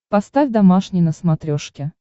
поставь домашний на смотрешке